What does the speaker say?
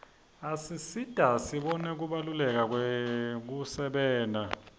asisita sibone kubaluleka kwekusebenta